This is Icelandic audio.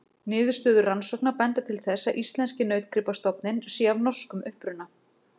Niðurstöður rannsókna benda til þess að íslenski nautgripastofninn sé af norskum uppruna.